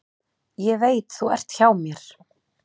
Ég veit þú ert hjá mér.